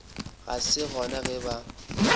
ga se gona ge ba